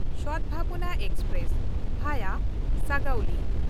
Sadbhavana express (ᱵᱷᱟᱭᱟ ᱥᱟᱜᱩᱞᱤ)